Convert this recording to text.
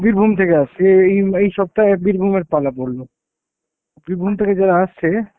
বীরভূম থেকে আসছি, এই এই এই সপ্তাহে বীরভূমের পালা পড়লো। বীরভূম থেকে যারা আসছে,